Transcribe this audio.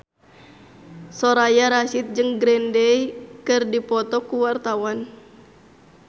Soraya Rasyid jeung Green Day keur dipoto ku wartawan